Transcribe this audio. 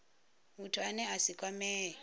muthu ane a si kwamee